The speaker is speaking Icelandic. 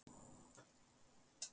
Haustfríið er í október.